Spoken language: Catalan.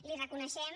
l’hi reconeixem